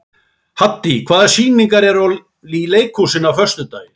Haddý, hvaða sýningar eru í leikhúsinu á föstudaginn?